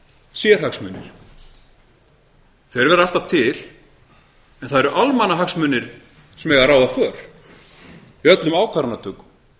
þeir verða alltaf til en það eru almannahagsmunir sem eiga að ráða för í öllum ákvarðanatökum